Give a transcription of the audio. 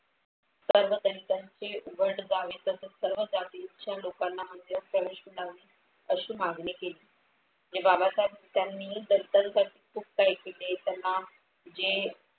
सर्व दलिताचे उघड जावे तसेच सर्व जातीच्या लोकांना प्रवेश मिळावे अशी मागणी केली. बाबासाहेब त्यांनी दलितांसाठी खूप काही केले. त्यांना म्हणजे